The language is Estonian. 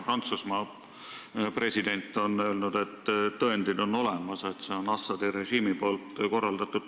Prantsusmaa president omakorda on öelnud, et tõendid on olemas, et see on Assadi režiimi korraldatud.